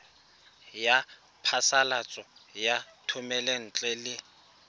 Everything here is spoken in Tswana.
ya phasalatso ya thomelontle le